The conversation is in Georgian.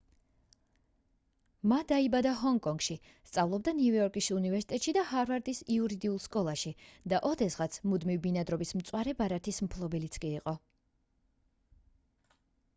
მა დაიბადა ჰონგ-კონგში სწავლობდა ნიუ-იორკის უნივერსიტეტში და ჰარვარდის იურიდიულ სკოლაში და ოდესღაც მუდმივ ბინადრობის მწვანე ბარათის მფლობელიც კი იყო